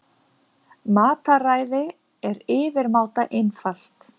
Mataræði er yfirmáta einfalt.